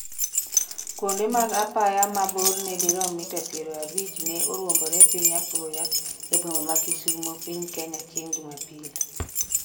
kuonde mag apaya ma borne dirom mita piero abich na oruombore piny apoya e boma ma Kisumo ,Piny Kenya chieng' jumapil